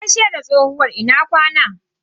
Ta gaishe da tsohuwar "Ina kwana".